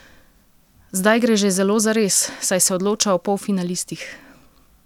Zdaj gre že zelo zares, saj se odloča o polfinalistih!